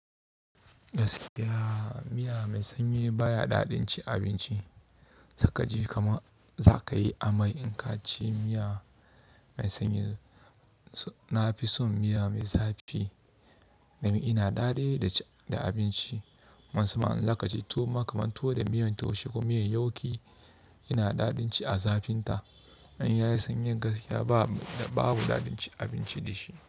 Gaskiya miya mai sanyi baya daɗin cin abinci. Saikaji kaman za ka yi amai in ka ci miya mai sanyi. Na fi son miya mai zafi domin ina daɗi da abinci. Musamman zakaje tuwoma kaman tuwo da miyan taushe ko miyan yauki yana daɗin ci a zafinta. In yayi sanyin gaskiya babu daɗin ci abinci da shi.